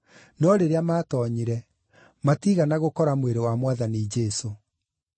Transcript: no rĩrĩa maatoonyire, matiigana gũkora mwĩrĩ wa Mwathani Jesũ.